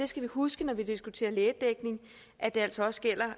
skal huske når vi diskuterer lægedækning at det altså også gælder